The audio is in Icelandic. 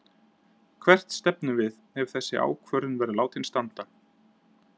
Hvert stefnum við ef þessi ákvörðun verður látin standa?